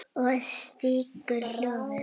Og stígur hjólið.